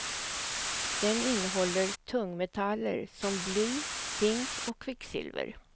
Den innehåller tungmetaller som bly, zink och kvicksilver.